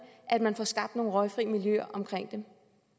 at man får skabt nogle røgfri miljøer omkring dem